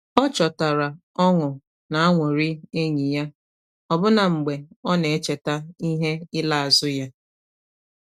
O chọtara ọṅụ n’anụrị enyi ya, ọbụna mgbe ọ na-echeta ihe ila azu ya.